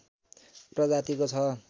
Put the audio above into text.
प्रजातिको छ